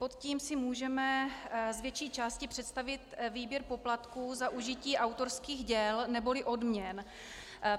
Pod tím si můžeme z větší části představit výběr poplatků za užití autorských děl neboli odměn.